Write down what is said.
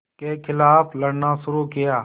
के ख़िलाफ़ लड़ना शुरू किया